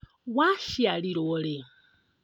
Waciarirwo rĩ?